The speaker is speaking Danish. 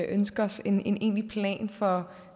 ønske os en egentlig plan for